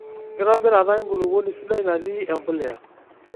Enkitobirata enkulupuoni sidai natii empuliya.